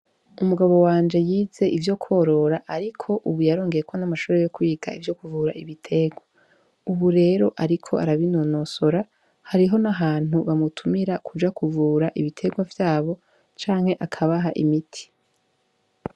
Umugabo wanje yize ivyo kworora, ariko, ubu yarongeyeko n'amashuri yo kwiga ivyo kuvura ibiterwa, ubu rero, ariko arabinonosora hariho nahantu bamutumira kuja kuvura ibiterwa vyabo canke akabaha imiti.